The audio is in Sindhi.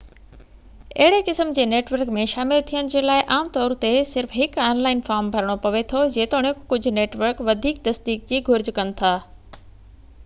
اهڙي قسم جي نيٽورڪ ۾ شامل ٿيڻ جي لاءِ عام طور تي صرف هڪ آن لائن فارم ڀرڻو پوي ٿو جيتوڻڪ ڪجهہ نيٽورڪ وڌيڪ تصديق جي گهرج ڪن ٿا